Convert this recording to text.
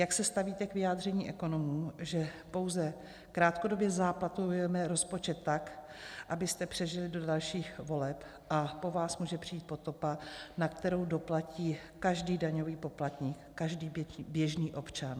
Jak se stavíte k vyjádření ekonomů, že pouze krátkodobě záplatujeme rozpočet tak, abyste přežili do dalších voleb, a po vás může přijít potopa, na kterou doplatí každý daňový poplatník, každý běžný občan?